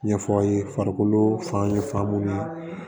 Ɲɛfɔ aw ye farikolo fan ye f'an b'u ye